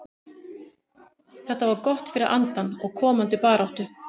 Þetta var gott fyrir andann og komandi baráttu.